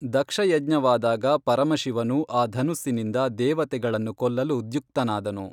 ದಕ್ಷಯಜ್ಞವಾದಾಗ ಪರಮಶಿವನು ಆ ಧನುಸ್ಸಿನಿಂದ ದೇವತೆಗಳನ್ನು ಕೊಲ್ಲಲು ದ್ಯುಕ್ತನಾದನು